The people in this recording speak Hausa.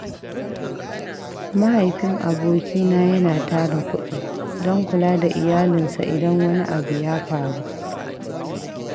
Mahaifin abokina yana tara kuɗi don kula da iyalinsa idan wani abu ya faru.